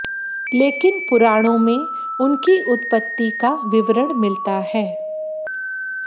लेकिन पुराणों में उनकी उत्पत्ति का विवरण मिलता है